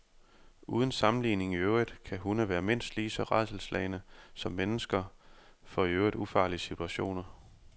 Uden sammenligning i øvrigt kan hunde være mindst lige så rædselsslagne som mennesker for i øvrigt ufarlige situationer.